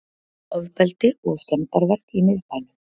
Ofbeldi og skemmdarverk í miðbænum